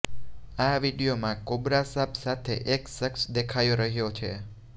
આ વીડિયોમાં કોબ્રા સાપ સાથે એક શખ્સ દેખાઈ રહ્યો છે